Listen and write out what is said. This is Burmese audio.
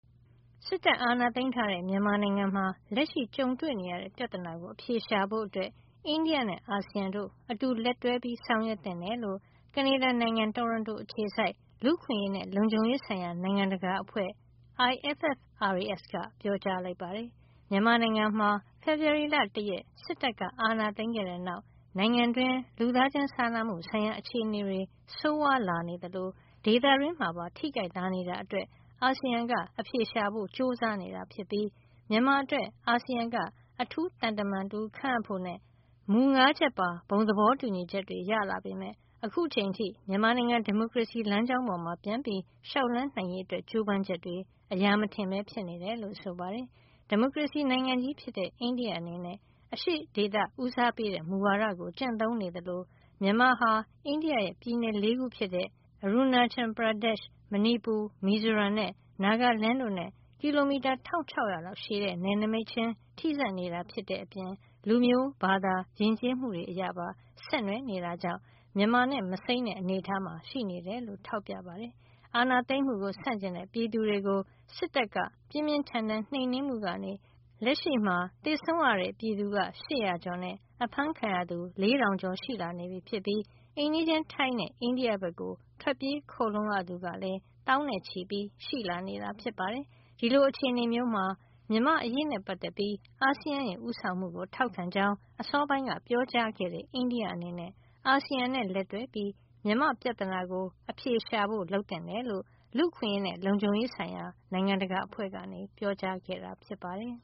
စစ်တပ်အာဏာသိမ်းထားတဲ့ မြန်မာနိုင်ငံမှာ လက်ရှိကြုံတွေ့နေရတဲ့ ပြဿနာကို အဖြေရှာဖို့ အိန္ဒိယနဲ့ အာဆီယံတို့ အတူလက်တွဲဆောင်ရွက်သင့်တယ်လို့ ကနေဒါနိုင်ငံ တိုရွန်တို အခြေစိုက် လူ့အခွင့်အရေးနဲ့ လုံခြုံရေးဆိုင်ရာ နိုင်ငံတကာ အဖွဲ့ (International Forum for Rights and Security) IFFRAS က ပြောကြားလိုက်ပါတယ်။ မြန်မာနိုင်ငံမှာ ဖေဖေါ်ဝါရီလ ၁ ရက် စစ်တပ်အာဏာသိမ်းခဲ့တဲ့နောက်မှာ နိုင်ငံတွင်း လူသားချင်းစာနာမှုဆိုင်ရာ အခြေနေဆိုးဝါးလာနေသလို ဒေသတွင်းမှာပါ ထိခိုက်လာနေတာအတွက် အာဆီယံက အဖြေရှာဖို့ ကြိုးစားနေတာ ဖြစ်ပြီး မြန်မာအတွက် အာဆီယံက အထူးသံတမန်ခန့်ဖို့နဲ့ မူ ၅ ချက်ပါ ဘုံသဘောတူညီချက်တွေ ရလာပေမယ့် အခုထိ မြန်မာနိုင်ငံ ဒီမိုကရေစီလမ်းကြောင်းပေါ် ပြန်ပြီး လျှောက်လှမ်းနိုင်ရေး ကြိုးပမ်းချက်တွေ အရာမထင်ပဲ ဖြစ်နေတယ်လို့ ဆိုပါတယ်။ ဒီမိုကရေစီနိုင်ငံကြီး ဖြစ်တဲ့ အိန္ဒိယအနေနဲ့ အရှေ့ဒေသဦးစားပေးတဲ့ မူဝါဒကို ကျင့်သုံးနေသလို မြန်မာဟာ အိန္ဒိယရဲ့ ပြည်နယ် ၄ ခုဖြစ်တဲ့ Arunachal Pradesh မဏီပူ၊ မီဇိုရမ်နဲ့ နာဂလန်း တို့နဲ့ ကီလိုမီတာ ၁၆၀၀ လောက် ရှည်တဲ့နယ်နိမိတ်ချင်းထိစပ်နေတဲ့အပြင် လူမျိုး၊ ဘာသာ၊ ယဉ်ကျေးမှုတွေပါ ဆက်နွယ်နေတာကြောင့် မြန်မာနဲ့ မစိမ်းတဲ့အနေထားမှာ ရှိနေတယ်လို့ ထောက်ပြပါတယ်။ အာဏာသိမ်းမှုဆန့်ကျင်တဲ့ ပြည်သူတွေကို စစ်တပ်က ပြင်းပြင်းထန်ထန် နှိမ်နင်းမှုကနေ လက်ရှိမှာ သေဆုံးရတဲ့ ပြည်သူ ၈၀၀ ကျော်နဲ့ အဖမ်းခံရသူ ၄၀၀၀ ကျော်ရှိ လာနေပြီး အိမ်နီးချင်း ထိုင်းနဲ့ အိန္ဒိယဘက် ထွက်ပြေးခိုလှုံရသူကလည်း သောင်းနဲ့ချီရှိလာနေတာ ဖြစ်ပါတယ်။ ဒီလို အခြေနေမှာ မြန်မာ့အရေးနဲ့ပတ်သက်ပြီး အာဆီယံရဲ့ ဦးဆောင်မှုကို ထောက်ခံကြောင်း အစောပိုင်းက ပြောကြားခဲ့တဲ့ အိန္ဒိယအနေနဲ့ အာဆီယံနဲ့ လက်တွဲပြီး မြန်မာ့ပြဿနာကို အဖြေရှာဖို့ လုပ်သင့်တယ်လို့ လူ့အခွင့်ရေးနဲ့ လုံခြုံရေးဆိုင်ရာ နိုင်ငံတကာအဖွဲ့က ပြောကြားခဲ့တာ ဖြစ်ပါတယ်